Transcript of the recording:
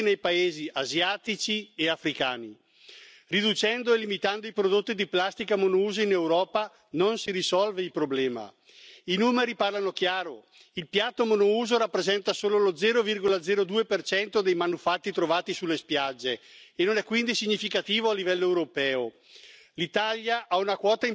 Ce n'est pas en interdisant les bâtonnets de coton tige, les couverts, les assiettes, les pailles et les bâtonnets mélangeurs pour boissons et les tiges pour ballons de baudruche que nous allons régler le problème. Non, les coupables ne sont pas nos citoyens européens qui jettent leurs paquets